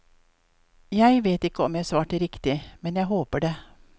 Jeg vet ikke om jeg svarte riktig, men jeg håper det.